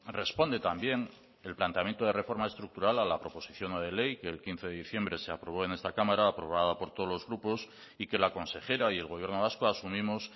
responde también el planteamiento de reforma estructural a la proposición no de ley que el quince de diciembre de aprobó en esta cámara aprobada por todos los grupos y que la consejera y el gobierno vasco asumimos